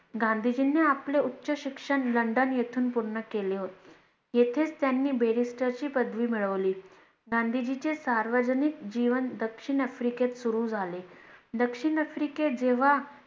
गांधीजींनी आपले उच्च शिक्षण लंडन येथून पूर्ण केले होते. येथेच त्यांनी BARISTER ची पदवी मिळवली. गांधीजीचे सार्वजनिक जीवन दक्षिण आफ्रिकेत सुरू झाले दक्षिण आफ्रिकेत जेव्हा